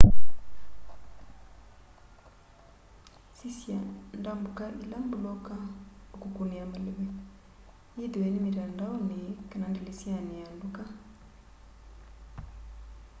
sisya ndambuka ila mbuloka ukukunia maleve yithiwe ni mitandaoni kana ndilisyani ya nduka